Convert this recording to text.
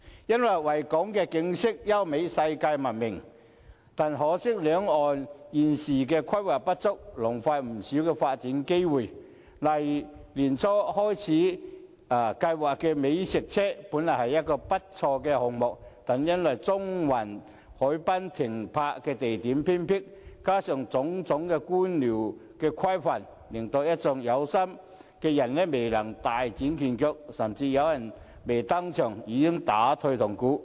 因為維港景色優美是世界聞名的，但可惜維港兩岸現時規劃不足，浪費不少發展機會，例如年初開始推行的美食車計劃，這個項目本來不錯，但由於中環海濱的停泊地點偏僻，加上種種官僚規範，令一眾有心人未能大展拳腳，甚至有人未登場已打退堂鼓。